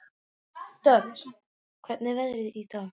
Dögg, hvernig er veðrið í dag?